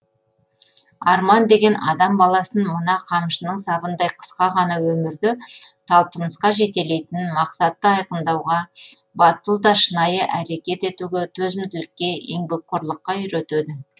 арман деген адам баласын мына қамшының сабындай қысқа ғана өмірде талпынысқа жетелейтін мақсатты айқындауға батыл да шынайы әрекет етуге төзімділікке еңбекқорлыққа үйретеді